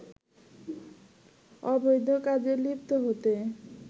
অবৈধ কাজে লিপ্ত হতে